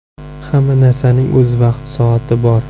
Hamma narsaning o‘z vaqti-soati bor.